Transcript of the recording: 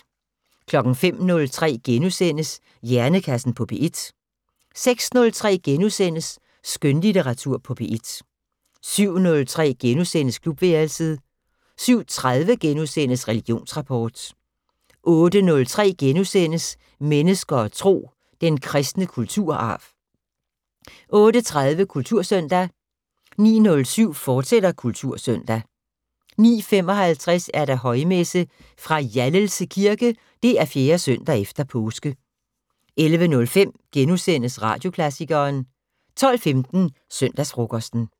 05:03: Hjernekassen på P1 * 06:03: Skønlitteratur på P1 * 07:03: Klubværelset * 07:30: Religionsrapport * 08:03: Mennesker og Tro: Den kristne kulturarv * 08:30: Kultursøndag 09:07: Kultursøndag, fortsat 09:55: Højmesse - fra Hjallelse Kirke. 4. søndag efter påske. 11:05: Radioklassikeren * 12:15: Søndagsfrokosten